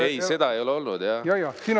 Ei, seda ei ole olnud jah.